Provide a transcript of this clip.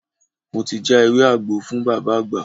Mo ti já ewé àgbo fún Bàbá àgbà.